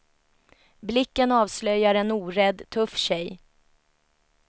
Blicken avslöjar en orädd, tuff tjej.